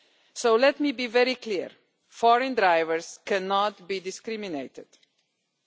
So let me be very clear foreign drivers cannot be discriminated against.